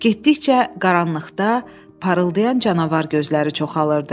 Getdikcə qaranlıqda parıldayan canavar gözləri çoxalırdı.